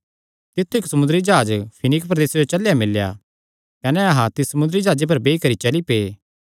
तित्थु इक्क समुंदरी जाह्ज फीनीके प्रदेसे जो चलेया मिल्ला कने अहां तिस समुंदरी जाह्जे पर बेई करी चली पै